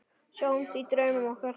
Sjáumst í draumum okkar.